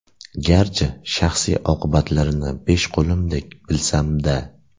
Garchi shaxsiy oqibatlarini besh qo‘limdek bilsam-da.